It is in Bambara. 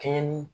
Kɛɲɛ ni